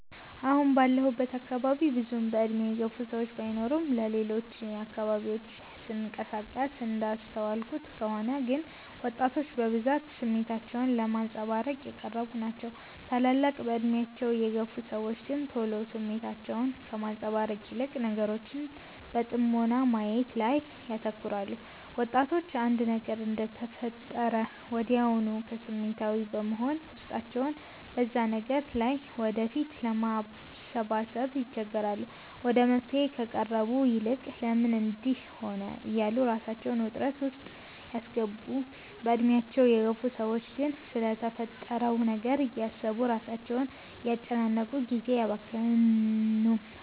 አሁን ባለሁበት አካባቢ ብዙም በእድሜ የገፉ ሰዎች ባይኖርም በሌሎች አካባቢዎች ስንቀሳቀስ እንዳስተዋልኩት ከሆነ ግን ወጣቶች በብዛት ስሜታቸውን ለማንፀባረቅ የቀረቡ ናቸው። ታላላቅ በእድሜያቸው የግፍ ሰዎች ግን ቶሎ ስሜታቸውን ከማንፀባረቅ ይልቅ ነገሮችን በጥሞና ማየት ላይ ያተኩራሉ። ወጣቶች አንድ ነገር እንደተፈጠረ ወድያውኑ ስሜታዊ በመሆን ውስጣቸው በዛ ነገር ላይ ወደፊት ለማሰባሰብ ይቸገራሉ። ወደ መፍትሔ ከመቅረቡ ይልቅ "ለምን እንድህ ሆነ" እያሉ ራሳቸውን ውጥረት ውስጥ ሲያስገቡ፤ በእድሜያቸው የገፉ ሰዎች ግን ስለተፈጠረው ነገር እያሰቡ ራሳቸውን አያጨናንቁም ጊዜም አያባክኑም።